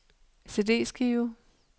CD-skive